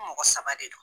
Mɔgɔ saba de do